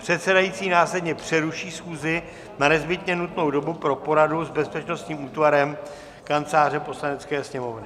Předsedající následně přeruší schůzi na nezbytně nutnou dobu pro poradu s bezpečnostním útvarem Kanceláře Poslanecké sněmovny.